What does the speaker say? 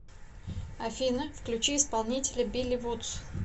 афина включи исполнителя билли вудс